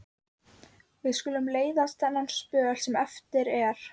Við skulum leiðast þennan spöl sem eftir er.